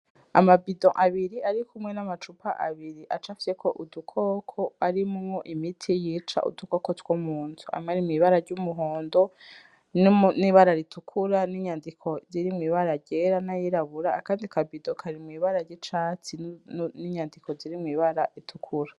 Amabido abiri arikumwe n'amacupa abiri acafiseko udukoko arimwo imiti yica udukoko twomunzu amwe ari mw'ibara ry'umuhondo n'ibara ritukura n'inyandiko ziri mw'ibara ryera n'ayirabura akandi kabido kari mw'ibara ry'icatsi n'inyandiko ziri mw'ibara ritukura.